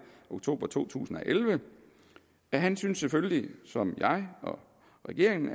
oktober to tusind og elleve at han selvfølgelig som jeg og regeringen